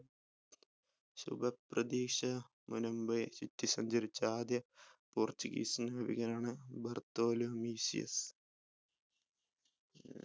സുഖപ്രതീക്ഷ സഞ്ചരിച്ച ആദ്യ portuguese നാവികനാണ് ബർതാലൊമി ഡിയാസ്